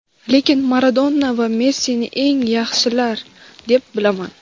lekin Maradona va Messini eng yaxshilar deb bilaman.